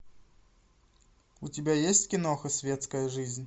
у тебя есть киноха светская жизнь